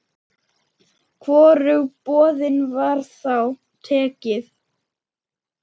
Hvorugu boðinu var þá tekið.